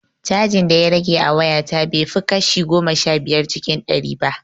Cajin da ya rage a waya ta bai fi kashi goma sha biyar cikin ɗari ba